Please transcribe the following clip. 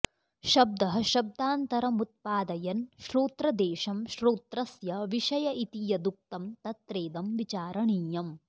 शब्दः शब्दान्तरमुत्पादयन् श्रोत्रदेशं श्रोत्रस्य विषय इति यदुक्तं तत्रेदं विचारणीयम्